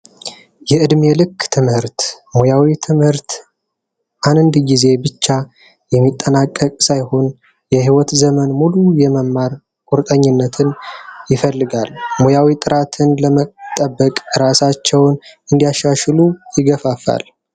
የእድሜ ልክ ትምህርት ሙያዊ ትምህርት አንድ ጊዜ ብቻ የሚጠናቀቅ ሳይሆን በይወት ዘመን ሙሉ የመማር ቁርጠኝነትን የሚፈልጉ ሙያዊ ጥራትን ለመጠበቅ ራሳቸው እንዲያሻሽሉ ይገፋፋል።